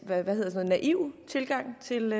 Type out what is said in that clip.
hvad hedder det naiv tilgang til